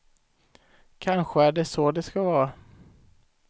Kanske är det så det ska vara.